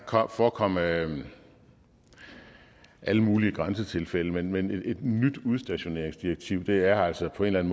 forekomme alle alle mulige grænsetilfælde men et nyt udstationeringsdirektiv er altså på en